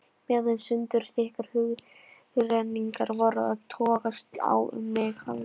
Meðan sundurþykkar hugrenningar voru að togast á um mig hafði